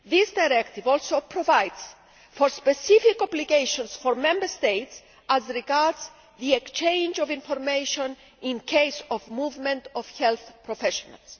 That Directive also provides for specific obligations for Member States as regards the exchange of information in the case of movement of health professionals.